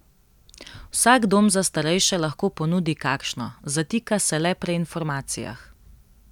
Vsak dom za starejše lahko ponudi kakšno, zatika se le pri informacijah.